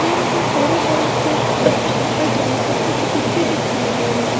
train के बड़े बड़े चक्के और पटरी और कुछ गिट्टी दिखाई दे रहे--